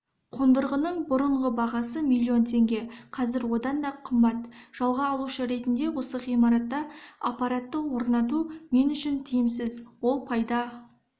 қондырғының бұрынғы бағасы миллион теңге қазір одан да қымбат жалға алушы ретінде осы ғимаратта аппаратты орнату мен үшін тиімсіз ол пайда